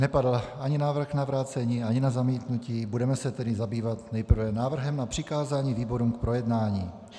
Nepadl ani návrh na vrácení, ani na zamítnutí, budeme se tedy zabývat nejprve návrhem na přikázání výborům k projednání.